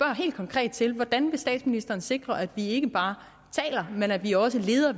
helt konkret til hvordan statsministeren vil sikre at vi ikke bare taler men at vi også leder